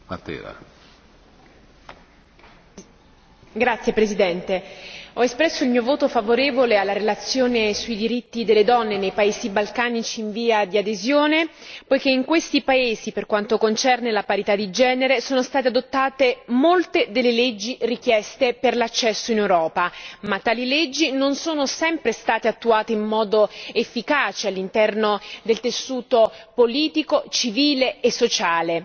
Signor Presidente, onorevoli colleghi, ho espresso il mio voto favorevole alla relazione sui diritti delle donne nei paesi balcanici in via di adesione poiché in questi paesi, per quanto concerne la parità di genere, sono state adottate molte delle leggi richieste per l'accesso in Europa, ma tali leggi non sono sempre state attuate in modo efficace all'interno del tessuto politico, civile e sociale.